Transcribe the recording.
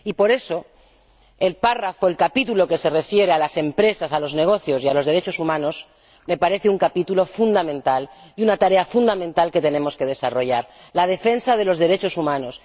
Y por eso, el capítulo que se refiere a las empresas, a los negocios y a los derechos humanos me parece un capítulo fundamental y una tarea fundamental que tenemos que desarrollar la defensa de los derechos humanos.